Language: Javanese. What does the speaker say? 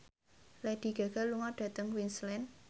Lady Gaga lunga dhateng Queensland